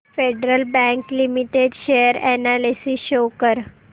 federal bank limited share analysis show कर